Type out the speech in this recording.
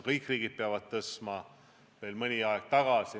Kõik riigid peavad suurendama.